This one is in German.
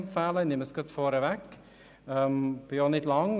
Ich nehme es gerade vorweg und spreche nicht lange.